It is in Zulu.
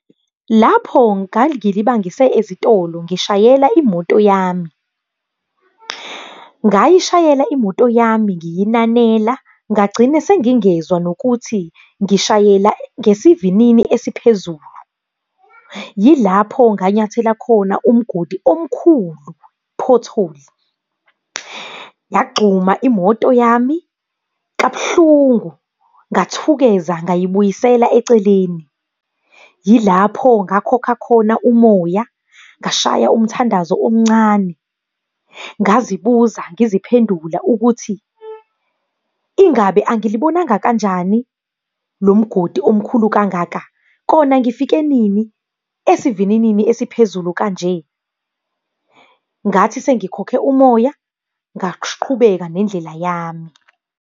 Lapho ngangilibangise ezitolo ngishayela imoto yami. Ngayishayela imoto yami ngiyinanela, ngagcina sengingezwa nokuthi ngishayela ngesivinini esiphezulu. Yilapho nganyathela khona umgodi omkhulu, pothole. Yagxuma imoto yami kabuhlungu, ngathukeza ngayibuyisela eceleni. Yilapho ngakhokha khona umoya, ngashaya umthandazo omncane, ngazibuza, ngiziphendula ukuthi, ingabe angilibonanga kanjani lo mgodi omkhulu kangaka, kona ngifike nini esivininini esiphezulu kanje. Ngathi sengikhokhe umoya, ngaqhubeka nendlela yami.